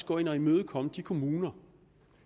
gå ind og imødekomme de kommuner